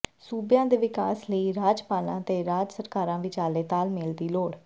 ਸੂਬਿਆਂ ਦੇ ਵਿਕਾਸ ਲਈ ਰਾਜਪਾਲਾਂ ਤੇ ਰਾਜ ਸਰਕਾਰਾਂ ਵਿਚਾਲੇ ਤਾਲਮੇਲ ਦੀ ਲੋੜ